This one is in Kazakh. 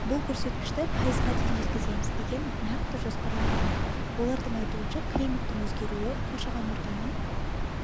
бұл көрсеткішті пайызға дейін жеткіземіз деген нақты жоспарлары бар олардың айтуынша климаттың өзгеруі қоршаған ортаның